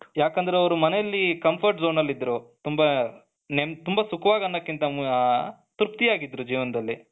ಯಾಕೆಂದ್ರೆ ಅವರು ಮನೆಯಲ್ಲಿ comfort zone ಅಲ್ಲಿ ಇದ್ದರು ತುಂಬಾ ತುಂಬಾ ಸುಖವಾಗಿ ಅನ್ನೋದಕ್ಕಿಂತ ತೃಪ್ತಿಯಾಗಿದ್ದರೂ ಜೀವನದಲ್ಲಿ,